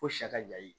Ko sa ka jayi